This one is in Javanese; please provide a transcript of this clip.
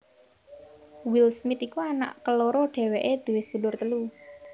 Will Smith iku anak keloro dhéwéké duwé sedulur telu